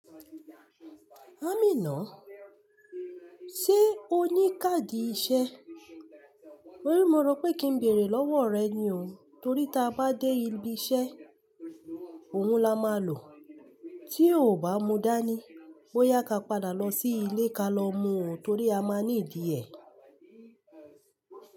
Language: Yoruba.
Amina, ṣe o ní káàdì iṣẹ́? Mo rí mo mọ̀ pé kí n bèrè lọ́wọ rẹ ni o, torí tí a bá dé ibi iṣẹ́, òun la máa lò. Tí o ò bá mú dání, bóyá ka padà lọ sí ilé ka lọ mu torí a máa ní ìdí ẹ.